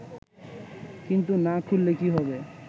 কিন্তু না খুললে কী হবে